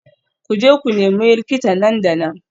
Ku je ku nemi likita nan da nan